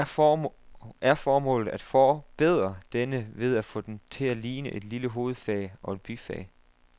Er formålet at forbedre denne ved at få den til at ligne et lille hovedfag og et bifag?